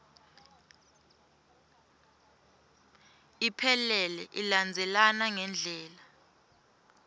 iphelele ilandzelana ngendlela